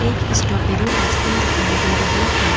एक strawberry ice cream दिखाई दे रही है।